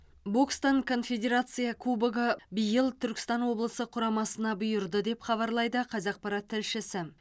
бокстан конфедерация кубогы биыл түркістан облысы құрамасына бұйырды деп хабарлайды қазақпарат тілшісі